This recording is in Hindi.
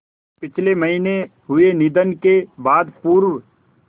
पिछले महीने हुए निधन के बाद पूर्व